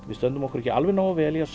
við stöndum okkur ekki alveg nógu vel í að